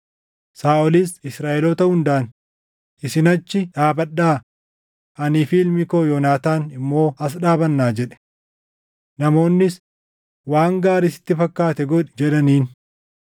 Saaʼolis Israaʼeloota hundaan, “Isin achi dhaabadhaa; anii fi ilmi koo Yoonaataan immoo as dhaabanna” jedhe. Namoonnis, “Waan gaarii sitti fakkaate godhi” jedhaniin.